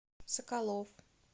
соколов